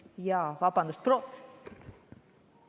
Jaa, vabandust, proov!